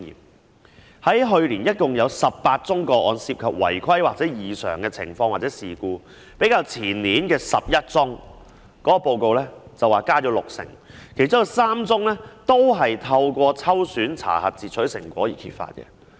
報告指出，去年共有18宗違規情況或異常事件或事故，較前年報告的11宗增加六成，其中有3宗均是透過抽選查核截取成果而揭發的。